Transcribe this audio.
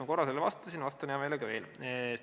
Ma korra sellele vastasin, vastan hea meelega veel.